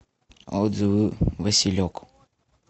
отзывы василек